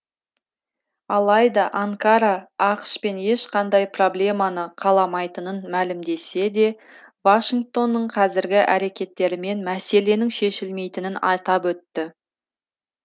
алайда анкара ақш пен ешқандай проблеманы қаламайтынын мәлімдесе де вашингтонның қазіргі әрекеттерімен мәселенің шешілмейтінін атап өтті